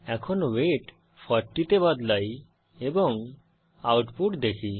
এখন ওয়েট 40 তে বদলাই এবং আউটপুট দেখি